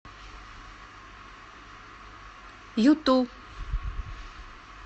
юту